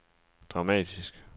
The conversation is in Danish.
dramatisk